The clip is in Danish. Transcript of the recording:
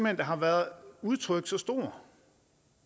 at der har været udtrykt så stor